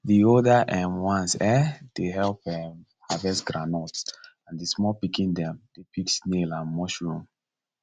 the older um ones um dey help um harvest groundnut and the small pikin dem dey pick snail and mushroom